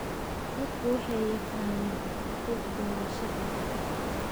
Dadku waxay yaqaaniin xuquuqdooda sharciga ah.